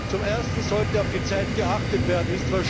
Zum Ersten sollte auf die Zeit geachtet werden.